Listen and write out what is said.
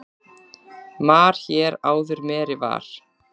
Mar hér áður meri var.